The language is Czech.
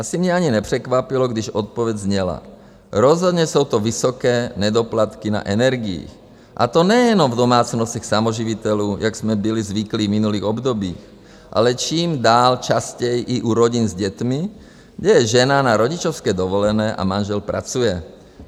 Asi mě ani nepřekvapilo, když odpověď zněla: "Rozhodně jsou to vysoké nedoplatky na energiích, a to nejenom v domácnostech samoživitelů, jak jsme byli zvyklí v minulých obdobích, ale čím dál častěji i u rodin s dětmi, kde je žena na rodičovské dovolené a manžel pracuje.